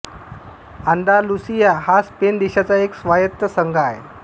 Andalusia हा Spain देशाचा एक स्वायत्त संघ आहे